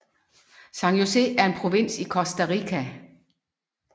San José er en provins i Costa Rica